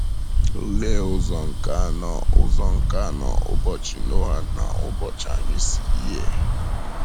Olee ụzọ nke anọ ụzọ nke anọ ụbọchị Noa na ụbọchị anyị si yie?